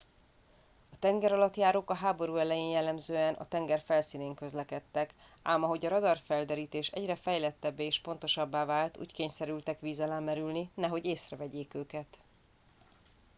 a tengeralattjárók a háború elején jellemzően a tenger felszínén közlekedtek ám ahogy a radarfelderítés egyre fejlettebbé és pontosabbá vált úgy kényszerültek víz alá merülni nehogy észrevegyék őket